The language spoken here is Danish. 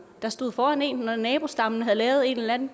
der stod foran en når nabostammen havde lavet et eller andet